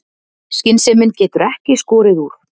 Skynsemin getur ekki skorið úr.